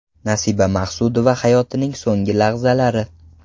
Nasiba Maqsudova hayotining so‘nggi lahzalari.